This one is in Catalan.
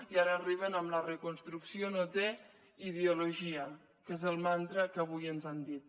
i ara arriben amb la reconstrucció no té ideologia que és el mantra que avui ens han dit